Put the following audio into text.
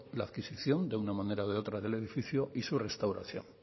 la adquisición de una manera o de otra del edificio y su restauración